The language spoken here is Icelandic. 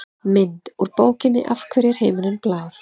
Mynd: Úr bókinni Af hverju er himinninn blár?